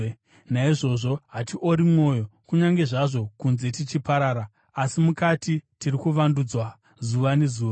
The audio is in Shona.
Naizvozvo hatiori mwoyo. Kunyange zvazvo kunze tichiparara, asi mukati tiri kuvandudzwa zuva nezuva.